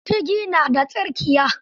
Kutigi na da tsirkiya.